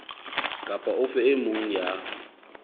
kapa ofe e mong ya